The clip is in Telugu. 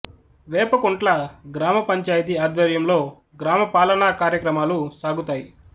వేపకుంట్ల గ్రామ పంచాయితి ఆధ్వర్యంలో గ్రామ పాలనా కార్యక్రమాలు సాగుతాయి